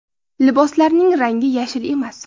Liboslarning rangi yashil emas.